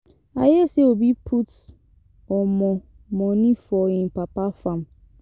I hear say Obi put um money for im papa farm.